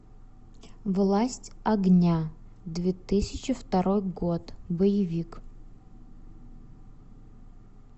власть огня две тысячи второй год боевик